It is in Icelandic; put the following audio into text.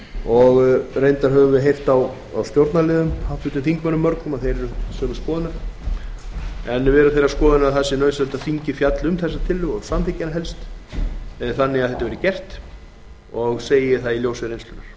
og reyndar höfum við heyrt á stjórnarliðum mörgum háttvirtum þingmönnum að þeir eru sama sinnis við erum þeirrar skoðunar að það sé nauðsynlegt að þingið fjalli um þessa tillögu og samþykki hana helst þannig að þetta verði gert og segi ég það í ljósi